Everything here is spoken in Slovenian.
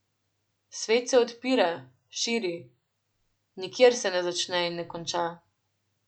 Svet se odpira, širi, nikjer se ne začne in ne konča.